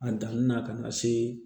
A danni na ka na se